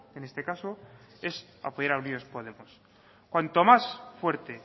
en este caso es apoyar a unidos podemos cuanto más fuerte